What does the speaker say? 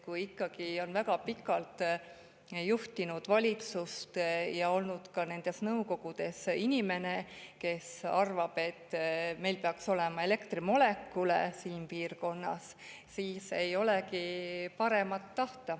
Kui ikkagi väga pikalt juhtis valitsust ja oli ka nendes nõukogudes inimene, kes arvab, et meil peaks olema siin piirkonnas elektrimolekule, siis ei olegi paremat tahta.